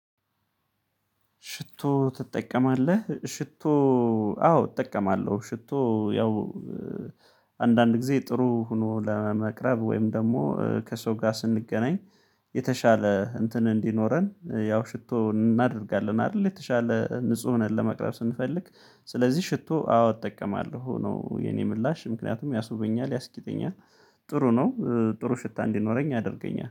ሽቶ ትጠቀማለ? ሽቶ አዎ እጠቀማለሁ ሽቶ ያው አንዳንድ ጊዜ ጥሩ ሆኖ ለመቅረብ ወይም ደግሞ ከሰው ጋር ስንገናኝ የተሻለ እንትን እንዲኖረን ያው ሽቶ እናደርጋለን አይደል የተሻለ ንጹህ ሆነን ለመቅረብ ስንፈልግ ስለዚህ ሽቶ አዎ እጠቀማለሁ ነው የኔ ምላሽ ምክንያቱም ያስቡኛል ያስጊጥኛል፤ ጥሩ ነው ጥሩ ሽታ እንዲኖረኝ አድርገኛል።